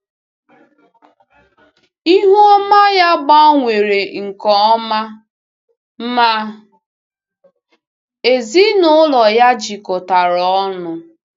Ihu ọma ya gbanwere nke ọma, ma ezinụlọ ya jikọtara ọnụ.